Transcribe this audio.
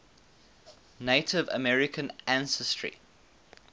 native american ancestry